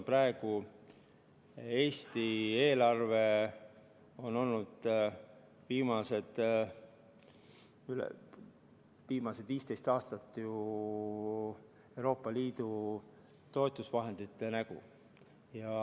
Eesti eelarve on olnud viimased 15 aastat ju Euroopa Liidu toetusvahendite nägu.